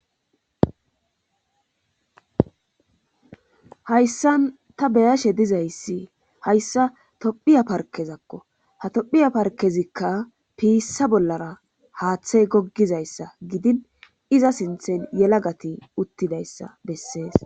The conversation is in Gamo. Hayssan ta beyashe dizayssi hayssa tophiya parkezakko ha tophiya parkezikka piissa bollara haaththey goggizayssa gidin iza sinthen yelagati uttidayssa bessees.